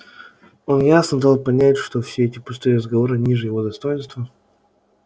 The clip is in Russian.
он ясно дал понять что все эти пустые разговоры ниже его достоинства